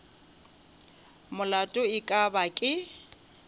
molato e ka ba ke